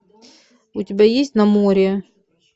у тебя есть на море